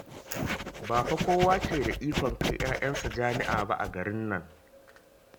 Ba fa kowa ke da ikon kai 'ya'yansa jami'a ba a garin nan